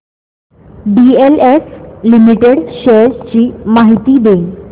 DLF limited shares ची माहिती दे